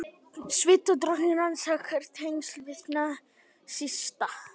Svíadrottning rannsakar tengsl við nasista